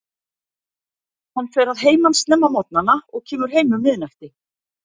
Hann fer að heiman snemma á morgnana og kemur heim um miðnætti.